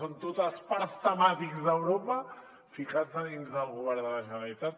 són tots els parcs temàtics d’europa ficats a dins del govern de la generalitat